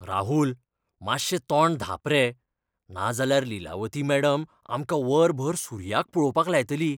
राहुल! मात्शें तोंड धांप रे, नाजाल्यार लीलावती मॅडम आमकां वरभर सुर्याक पळोवपाक लायतली.